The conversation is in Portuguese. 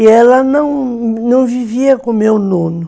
E ela não, não vivia com o meu nono.